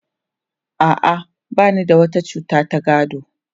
A'a, ba ni da wata cuta ta gado.